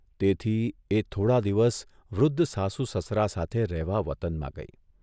તેથી એ થોડા દિવસ વૃદ્ધ સાસુ સસરા સાથે રહેવા વતનમાં ગઇ.